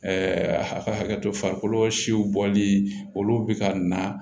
a ka hakɛto farikolo siw bɔli olu bɛ ka na